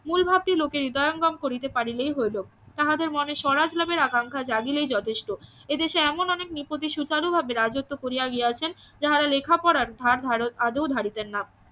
মূলভাবটি লোকের হৃদয়ঙ্গম করিতে পারলেই হলো তাহাদের মনে স্বরাজ লাভের আকাঙ্খা জাগিলেই যথেষ্ট এদেশে এমন অনেক নৃপতি ভাবে রাজত্ব করিয়া গিয়াছেন যাহারা লেখা পড়ার ধার আদেও ধারিতেন না